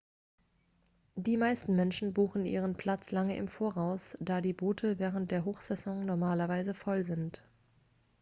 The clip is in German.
die meisten menschen buchen ihren platz lange im voraus da die boote während der hochsaison normalerweise voll sind